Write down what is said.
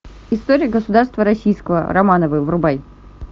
история государства российского романовы врубай